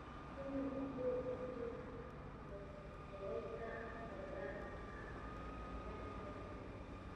Kenya waxay xiriir wanaagsan la lahayd dalalka reer galbeedka, gaar ahaan Maraykanka iyo Ingiriiska.